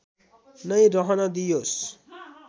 नै रहन दिइयोस्